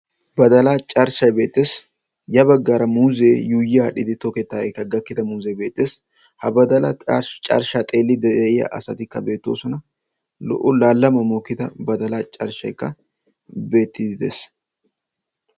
Badalaa carshshay beettes. Ya baggaara muuzee yuuyyi adhdhidi toketaageekka gakkida muuzee beettes. Ha badalaa carshshaa xeelliidi de'iya asatikka beettoosona. Lo'o laalaman mokkida badalaa carshshaykka beettiddi des.